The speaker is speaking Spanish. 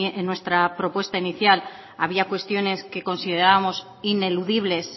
nuestra propuesta inicial había cuestiones que considerábamos ineludibles